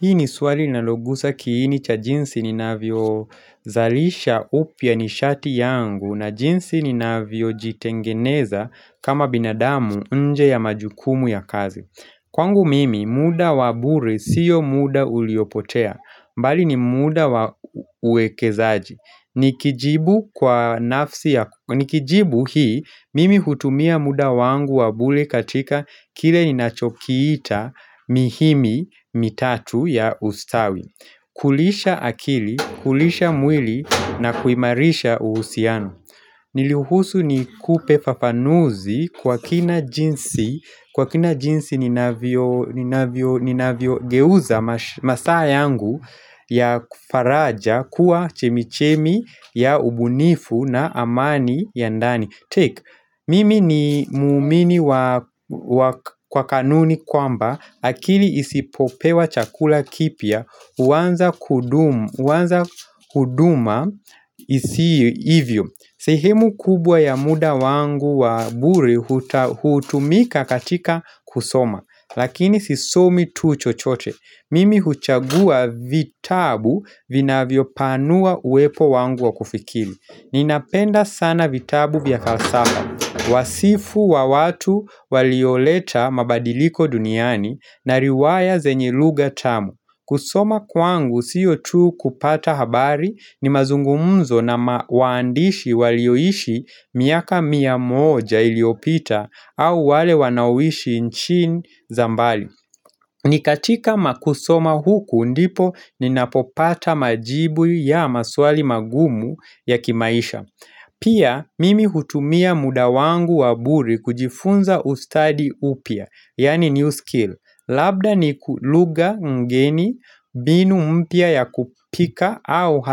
Hii ni swali linalogusa kiini cha jinsi ninavyo zalisha upya ni shati yangu na jinsi ninavyo jitengeneza kama binadamu nje ya majukumu ya kazi. Kwangu mimi mda wa bure siyo mda uliopotea, bali ni muda wa uwekezaji. Nikijibu kwa nafsi ya, nikijibu hii mimi hutumia muda wangu wa bure katika kile ninachokiita mihimi mitatu ya ustawi. Kulisha akili, kulisha mwili na kuimarisha uhusiano. Niruhusu nikupe fafanuzi kwa kina jinsi, kwa kina jinsi ninavyogeuza masaa yangu ya faraja kuwa chemichemi ya ubunifu na amani ya ndani. Take, mimi ni muumini wa kwa kanuni kwamba akili isipopewa chakula kipya huanza kuduma isiye ivyo sehemu kubwa ya muda wangu wa bure huta hutumika katika kusoma. Lakini sisomi tu chochote Mimi huchagua vitabu vinavyopanua uwepo wangu wa kufikiri Ninapenda sana vitabu vya falsafa. Wasifu wa watu walioleta mabadiliko duniani na riwaya zenye lugha tamu. Kusoma kwangu siyo tu kupata habari ni mazungumuzo na waandishi walioishi miaka mia moja iliyopita au wale wanaoishi nchini za mbali. Ni katika makusoma huku ndipo ninapopata majibu ya maswali magumu ya kimaisha Pia mimi hutumia muda wangu wa bure kujifunza ustaadi upya, yaani new skill Labda ni lugha ngeni mbinu mpya ya kupika au